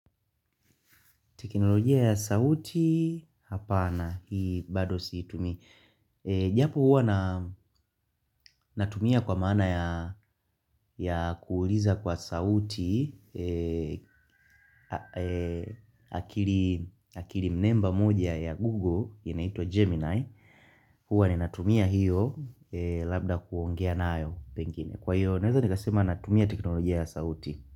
Teknolojia ya sauti hapana, hii bado siitumi. Japo huwa natumia kwa maana ya kuuliza kwa sauti akiri mnemba moja ya Google, inaitwa Gemini. Huwa ninatumia hiyo labda kuongea nayo pengine. Kwa hiyo, naweza nikasema natumia teknolojia ya sauti.